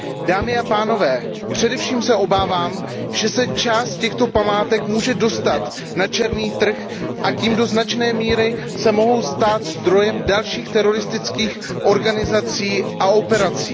Dámy a pánové, především se obávám, že se část těchto památek může dostat na černý trh a tím se do značné míry mohou stát zdrojem dalších teroristických organizací a operací.